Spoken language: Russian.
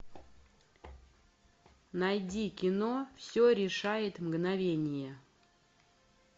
найди кино все решает мгновение